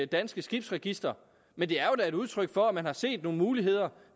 danske skibsregister men det er da et udtryk for at man har set nogle muligheder